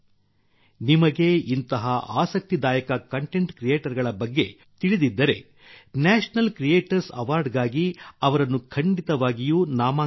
ನಿಮಗೆ ಇಂತಹ ಆಸಕ್ತಿದಾಯ ಕಂಟೆಂಟ್ ಕ್ರಿಯೇಟರ್ ಗಳ ಬಗ್ಗೆ ತಿಳಿದಿದ್ದರೆ ಅವರನ್ನು ನ್ಯಾಷನಲ್ ಕ್ರಿಯೇಟರ್ಸ್ ಅವಾರ್ಡ್ ಗಾಗಿ ಅವರನ್ನು ಖಂಡಿತವಾಗಿಯೂ ನಾಮನಿರ್ದೇಶನ ಮಾಡಿ